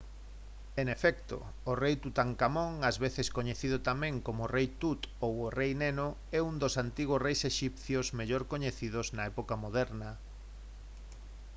en efecto! o rei tutankamón ás veces coñecido tamén como o «rei tut» ou o «rei neno» é un dos antigos reis exipcios mellor coñecidos na época moderna